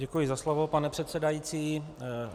Děkuji za slovo, pane předsedající.